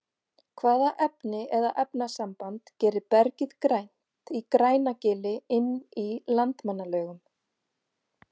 hvaða efni eða efnasamband gerir bergið grænt í grænagili inn í landmannalaugum